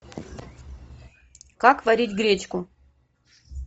как варить гречку